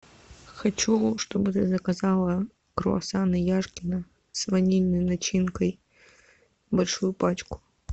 хочу чтобы ты заказала круассаны яшкино с ванильной начинкой большую пачку